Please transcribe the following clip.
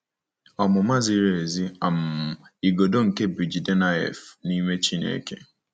Ọmụma ziri ezi um - Igodo nke BJidennaef nime Chineke.